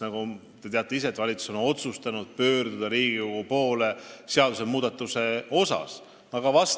Nagu te ise teate, valitsus on otsustanud pöörduda seadusmuudatusega Riigikogu poole.